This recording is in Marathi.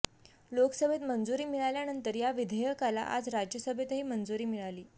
लोकसभेत मंजूरी मिळाल्यानंतर या विधेयकाला आज राज्यसभेतही मंजूरी मिळाली